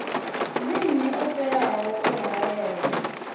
ndi nnyi o teaho u haelwa